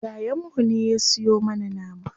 Yayan mu ne ya siyo mana nama.